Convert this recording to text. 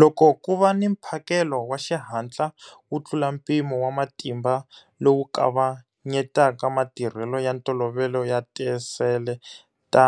Loko ku va ni mphakelo wa xihatla wo tlula mpimo wa matimba lowu kavanyetaka matirhelo ya ntolovelo ya tisele ta